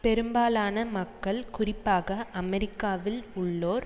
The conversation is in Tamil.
பெரும்பாலான மக்கள் குறிப்பாக அமெரிக்காவில் உள்ளோர்